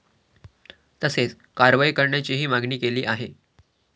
तसेच कारवाई करण्याचीही मागणी केली आहे.